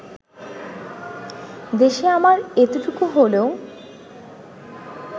দেশে আমার এতটুকু হলেও